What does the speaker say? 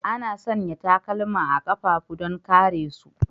Ana sanya takalma a kafafu don kare su.